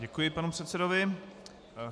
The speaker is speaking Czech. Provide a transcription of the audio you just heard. Děkuji panu předsedovi.